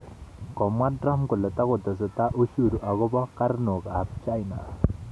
Komwa Trump kole takotesetai ushuru akobo karnok ab China